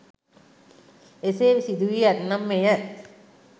එසේ සිදු වී ඇත්නම් මෙය